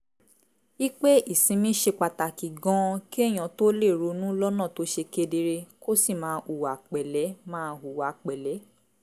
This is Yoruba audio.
i pé ìsinmi ṣe pàtàkì gan-an kéèyàn tó lè ronú lọ́nà tó ṣe kedere kó sì máa hùwà pẹ̀lẹ́ máa hùwà pẹ̀lẹ́